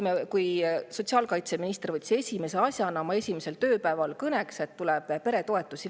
Sotsiaalkaitseminister võttis esimesel tööpäeval esimese asjana jutuks selle, et tuleb vähendada peretoetusi.